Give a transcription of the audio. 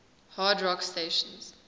hard rock stations